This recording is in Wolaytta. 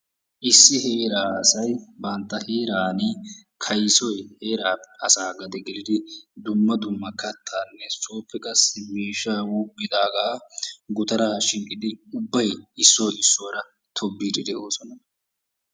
Issi heeraa asay bantta heeraan kaysoy heeraa asaa gade gelidi dumma dumma kattaanne sooppe qassi miishshaa wuuqqidaaga gutaraa shiiqidi ubbay issoy issuwara tobbiiddi de'oosona.